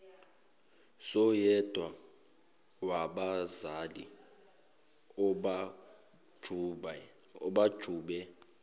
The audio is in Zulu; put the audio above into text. soyedwa wabazali abajube